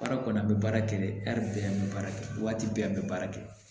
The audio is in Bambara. Baara kɔni an bɛ baara kɛ de bɛɛ an bɛ baara kɛ waati bɛɛ an bɛ baara kɛ